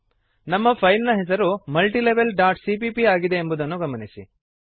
ನಮ್ಮ ಫೈಲ್ ನ ಹೆಸರು multilevelಸಿಪಿಪಿ ಆಗಿದೆ ಎಂಬುದನ್ನು ಗಮನಿಸಿರಿ